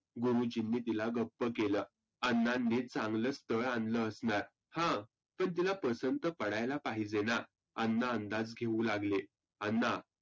गुरुजींनी तिला गप्प केलं. अण्णांनी चांगल स्थळ आनलं असणार, हंं. पण तिला पसंत पडायला पाहिजे ना. अण्णा अंदाज घेऊ लागले. अण्णा